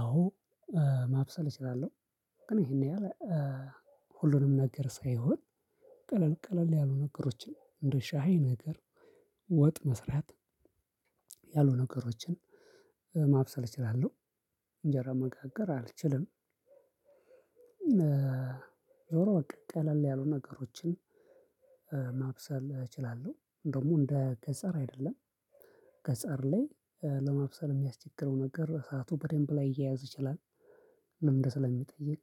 አዎ ማብሰል እችላለሁ። ግን ይሄን ያህል ሁሉንም ነገር ሳይሆን ቀለል ቀለል ያሉ ነገሮችን እንደ ሻይ ነገር ወጥ መስራት ያሉ ነገሮችን ማብሰል እችላለሁ። እንጀራ መጋገር አልችልም። ዞሮ በቃ ቀለል ያሉ ነገሮችን ማብሰል እችላለሁ። ደግሞ እንደ ገጠር አይደለም ገጠር ላይ ለመብሰል የሚያስቸግረው ነገር እሳቱ በደንብ ላይያያዝ ይችላል። ልምድ ስለሚጠይቅ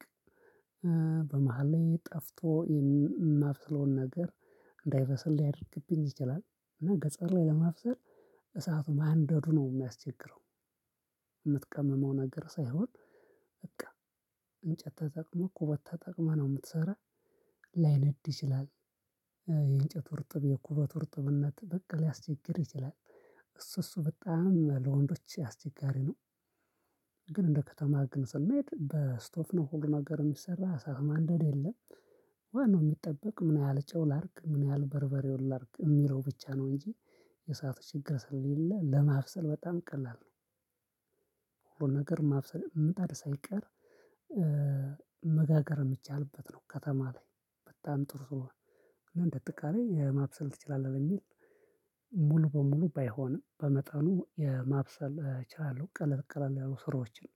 በመሃል ጠፍቶ የማብሰለውን ነገር እንዳይበሰል ሊያደርግብኝ ይችላል። እና ገጠር ላይ ለማብሰል እሳቱን ማንደዱ ነው የሚያስቸግረው። የምትቀምመው ነገር ሳይሆን በቃ እንጨት ተጠቅመህ ኩበት ተጠቅመህ ነው የምትሰራው ላይነድ ይችላል። የእንጨቱ እርጥብ የኩበቱ እርጥብነት በቃ ሊያስቸግርህ ይችላል። እሱ እሱ በጣም ለወንዶች ያስቸጋሪ ነው። ግን እንደ ከተማ ግን ስንሄድ በስቶቭ ነው ሁሉ ነገር የሚሰራው እሳት ማንደድ የለም። ዋናው የሚጠበቅ ምን ያህል ጨው ላርግ ምን ያህል በርበሬውን ላርግ የሚለው ብቻ ነው እንጂ የእሳት ችግር ስለሌለ ለማብሰል በጣም ቀላል ነው። ነገር ማብሰል ምጣድ ሳይቀር በምቻልበት ነው ከተማ ላይ በጣም ጥሩ ስለሆነ እንደ ጥቃሬ ማብሰል ትችላለህ የሚል ሙሉ በሙሉ ባይሆንም በመጠኑ የማብሰል እችላለሁ ቀለል ቀለል ያሉ ስራዎችን።